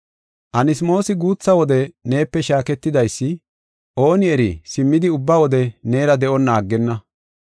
Anasmoosi guutha wode neepe shaaketidaysi, ooni eri simmidi ubba wode neera de7onna aggenna.